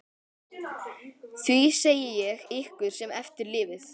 Því segi ég ykkur sem eftir lifið.